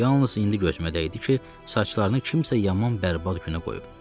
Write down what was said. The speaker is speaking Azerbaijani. Yalnız indi gözümə dəydi ki, saçlarını kimsə yaman bərbad günə qoyub.